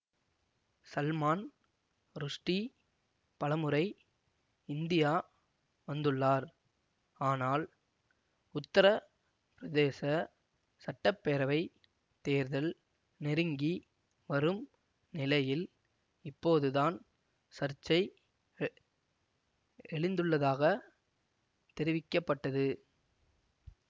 சல்மான் ருஷ்டி பலமுறை இந்தியா வந்துள்ளார் ஆனால் உத்தர பிரதேச சட்ட பேரவை தேர்தல் நெருங்கி வரும் நிலையில் இப்போதுதான் சர்ச்சை எ எழுந்துள்ளதாக தெரிவிக்க பட்டது